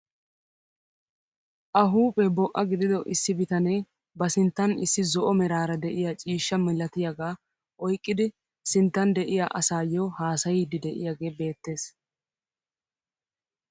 A huuphphee bo"a gidido issi bitanee ba sinttan issi zo'o meraara de'iyaa ciishsha milatiyagaa oyqqidi sinttan de'iyaa asayoo hasayiidi de'iyaagee beettees!